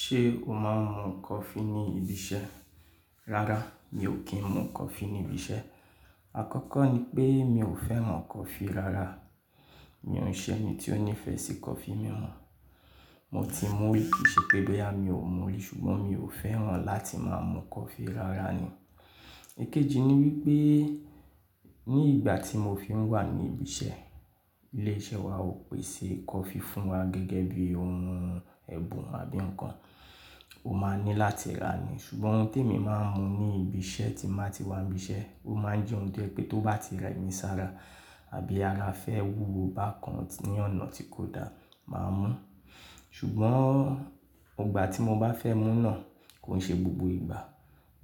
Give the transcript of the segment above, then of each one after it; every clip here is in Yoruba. Ṣé o máa ń mu coffee ní ibi iṣẹ́? Rárá, mi ò kí ń mu coffee ní ibi iṣẹ́. Àkọ́kọ́ ni pé mi ò fẹ́ràn coffee rárá. Mi o n ṣe ẹni tí ó nífẹ̀ẹ́ sí coffee mì o. Mo ti mú rí kì í ṣe pé boyà mi ò mú rí ṣùgbọ́n mi ò fẹ́ràn láti máa mu coffee rárá ni. Èkejì ni wípé ní ìgbà tí mo fi ń wà ní ibi iṣẹ́, ilé-iṣẹ́ wa ò pèsè coffee fún wa gẹ́gẹ́ bí ohun ẹ̀bùn àbí ǹkan, o máa ní láti rà á ni. Ṣùgbọ́n ohun tí èmi máa ń mu ní ibi iṣẹ́ tí màá ti wà ní ibi iṣẹ́, ó máa ń jẹ́ ohun tó jẹ́ pé tó bá ti rẹ́ mi sára àbí ara fẹ́ wúwo bá kan ní ọ̀nà tí kò da, màá mú. Ṣùgbọ́n ọgbà tí mo bá fẹ́ mú náà kò ń ṣe gbogbo ìgbà.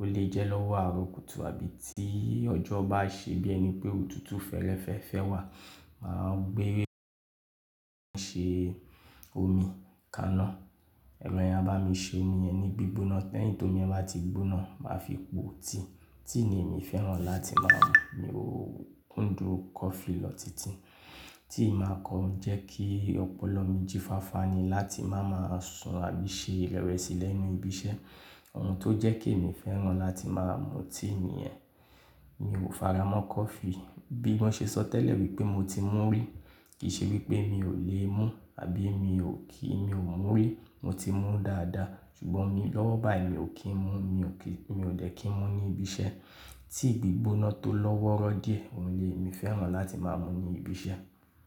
Ó lè jẹ́ lọ́wọ́ àárọ̀ kùtù àbí tí ọjọ́ bá ṣe bí ẹni pé òtútù fẹ́rẹ́ fẹ́ fẹ́ wà, màá gbé ń ṣe omi kaná, ẹrọ yen a bá mi ṣe mi ẹni gbígbóná lẹ́yìn tómi yen bá ti gbóná, màá fi po tíì. Tíì ni èmi fẹ́ràn láti máa mu, mi ò kún dùn coffee lọ titi. Tíì máa kan jẹ́ kí ọpọlọ mi jí fáfá ni láti máa máa sun àbí ṣe ìrẹ́wẹ̀sì lẹ́nu ibi iṣẹ́. Ohun tó jẹ́ ki èmi fẹ́ràn láti máa mu tíì nìyẹn. Mi ò fara mọ́ coffee. Bí wọ́n ṣe sọ tẹ́lẹ̀ wípé mo ti mú rí, kì í ṣe wípé mi ò lè mu àbí mi ò kí, mi ò mú rí. Mo ti mú dáadáa ṣùgbọ́n ní lọ́wọ́ báyìí mi ò kí ń mu, mi ò dè kí ń mu ní ibi iṣẹ́. Tí gbígbóná tó lọ́wọ́rọ́ díẹ̀, òun lè, èmi fẹ́ràn láti máa mú ní ibi iṣẹ́.